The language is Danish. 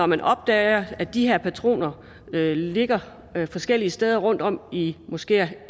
man opdager at de her patroner ligger forskellige steder rundtom måske